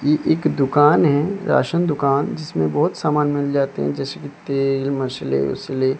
ये एक दुकान है राशन दुकान जिसमें बहोत समान मिल जाते है जैसे कि तेल मसले उसले--